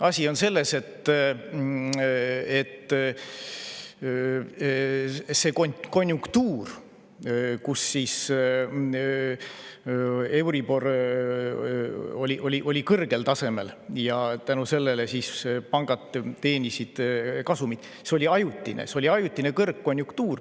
Asi on selles, et see konjunktuur, kui euribor oli kõrgel tasemel ja tänu sellele pangad teenisid kasumit, oli ajutine kõrgkonjunktuur.